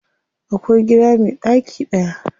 Akwai gida me ɗaki daya.